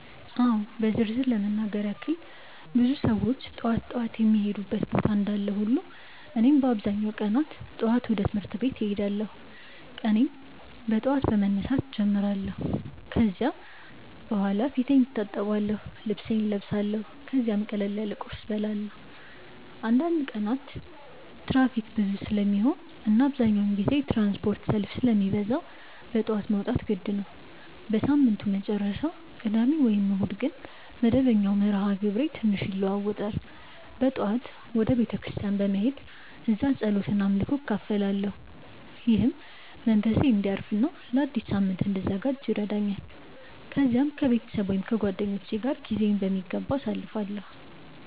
አዎ በዝርዝር ለመናገር ያክል ብዙ ሰዎች ጠዋት ጠዋት የሚሄዱበት ቦታ እንዳለ ሁሉ እኔም በአብዛኛው ቀናት ጠዋት ወደ ትምህርት ቤት እሄዳለሁ። ቀኔን በጠዋት በመነሳት እጀምራለሁ ከዚያ በኋላ ፊቴን እታጠብአለሁ፣ ልብሴን እለብሳለሁ ከዚያም ቀላል ቁርስ እበላለሁ። አንዳንድ ቀናት ትራፊክ ብዙ ስለሚሆን እና አብዛኛውን ጊዜ የትራንስፖርት ሰልፍ ስለሚበዛ በጠዋት መውጣት የግድ ነው። በሳምንቱ መጨረሻ (ቅዳሜ ወይም እሁድ) ግን መደበኛው መርሃ ግብሬ ትንሽ ይለዋዋጣል። በጠዋት ወደ ቤተ ክርስቲያን በመሄድ እዚያ ጸሎት እና አምልኮ እካፈላለሁ፣ ይህም መንፈሴን እንዲያርፍ እና ለአዲስ ሳምንት እንድዘጋጅ ይረዳኛል። ከዚያም ከቤተሰብ ወይም ከጓደኞች ጋር ጊዜዬን በሚገባ አሳልፋለሁ።